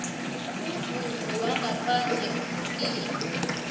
umvumo wangaphandle uhlukile